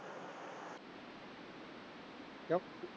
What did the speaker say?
ਕਿਉਂ